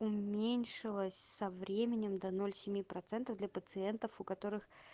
уменьшилась со временем до ноль семи процентов для пациентов у которых